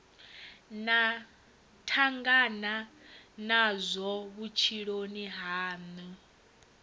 na tangana nazwo vhutshiloni hanu